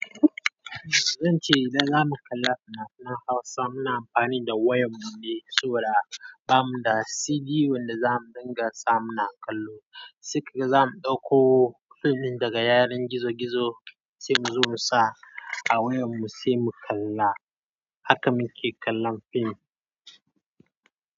Zan ce idan za mu kalla fina-finan Hausa muna amfani da wayar mu ne saboda ba mu da CD wanda za mu dinga sa muna kallo. Sikari zamu ɗauko fim daga yaren gizo-gizo sai mu zo mu sa a wayar mu sai mu kalla. Haka muke kallon fim.